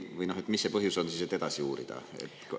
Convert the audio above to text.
Või mis see põhjus on siis, et edasi uurida?